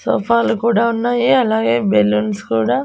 సోఫాలు కూడా ఉన్నాయి అలాగే బెలూన్స్ కూడా--